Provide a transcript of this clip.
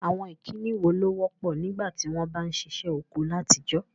Àwon ìkíni wo ló wọ́pọ̀ nígbàtí won ba n sisẹ́ oko látijọ́?